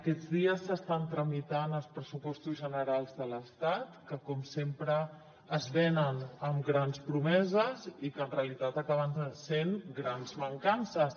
aquests dies s’estan tramitant els pressupostos generals de l’estat que com sempre es venen amb grans promeses i que en realitat acaben sent grans mancances